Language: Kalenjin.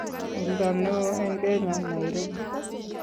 oldo ne oo eng Kenya Nairobi